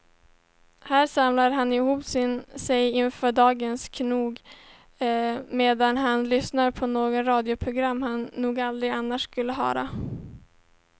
Här samlar han ihop sig inför dagens knog medan han lyssnar på något radioprogram han nog aldrig annars skulle ha hört.